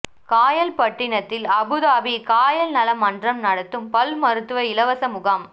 காயல்பட்டினத்தில் Abu Dhabi Kayal நல மன்றம் நடத்தும் பல் மருத்துவ இலவச முகாம்